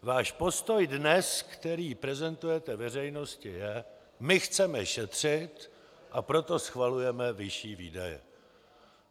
Váš postoj dnes, který prezentujete veřejnosti, je: My chceme šetřit, a proto schvalujeme vyšší výdaje.